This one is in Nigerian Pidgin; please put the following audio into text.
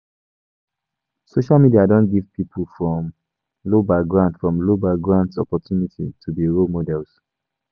Social media don give pipo from low backgrounds from low backgrounds opportunity to be role models